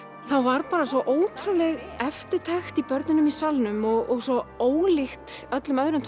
þá var bara svo ótrúleg eftirtekt hjá börnunum í salnum og svo ólíkt öllum öðrum